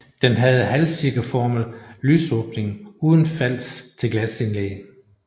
Den havde halvcirkelformet lysåbning uden fals til glasindlæg